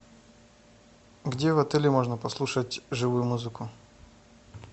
где в отеле можно послушать живую музыку